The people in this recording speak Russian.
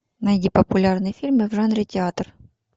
найди популярные фильмы в жанре театр